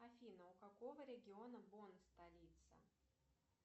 афина у какого региона бон столица